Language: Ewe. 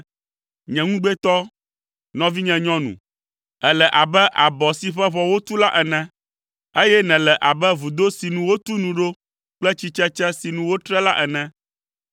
Nye ŋugbetɔ, nɔvinye nyɔnu, èle abe abɔ si ƒe ʋɔ wotu la ene. Eye nèle abe vudo si nu wotu nu ɖo kple tsitsetse si nu wotre la ene.